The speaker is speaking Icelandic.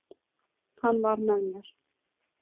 Hann var með mér.